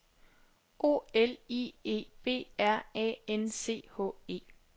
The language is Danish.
O L I E B R A N C H E